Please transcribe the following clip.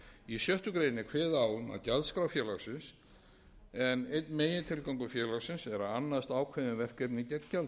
í sjöttu grein er kveðið á um gjaldskrá félagsins en einn megintilgangur félagsins er að annast ákveðin verkefni gegn gjaldi gjaldinu er